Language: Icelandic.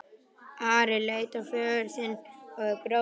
Ari leit á föður sinn og bróður.